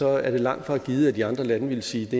er langtfra givet at de andre lande ville sige at det